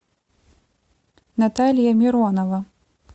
наталья миронова